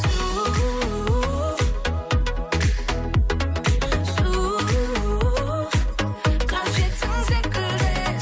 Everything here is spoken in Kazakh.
су шу қажетсің секілді